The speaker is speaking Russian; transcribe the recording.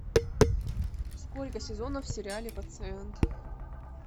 сколько сезонов в сериале пациент